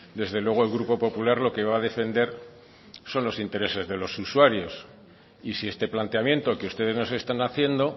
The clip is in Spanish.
desde luego el grupo popular lo que va a defender son los intereses de los usuarios y si este planteamiento que ustedes nos están haciendo